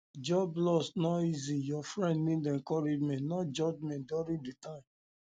job loss no easy your friend need encouragement not judgement during di time um